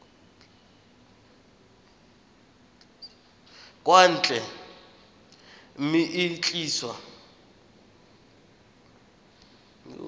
kwa ntle mme e tliswa